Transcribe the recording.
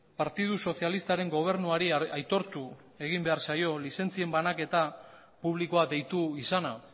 partidu sozialistaren gobernuari aitortu egin behar zaio lizentzien banaketa publikoa deitu izana